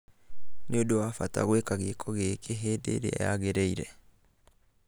Nĩ ũndũ wa bata gwĩka gĩĩko gĩkĩ hĩndĩ ĩrĩa yagĩrĩire.